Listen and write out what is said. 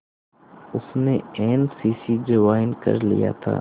उसने N C C join कर लिया था